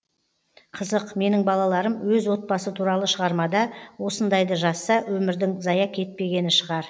қызық менің балаларым өз отбасы туралы шығармада осындайды жазса өмірдің зая кетпегені шығар